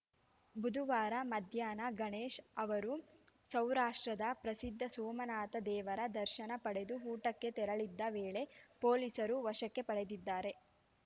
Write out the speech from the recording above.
ಬುಧವಾರ ಮಧ್ಯಾಹ್ನ ಗಣೇಶ್‌ ಅವರು ಸೌರಾಷ್ಟ್ರದ ಪ್ರಸಿದ್ಧ ಸೋಮನಾಥ ದೇವರ ದರ್ಶನ ಪಡೆದು ಊಟಕ್ಕೆ ತೆರಳುತ್ತಿದ್ದ ವೇಳೆ ಪೊಲೀಸರು ವಶಕ್ಕೆ ಪಡೆದಿದ್ದಾರೆ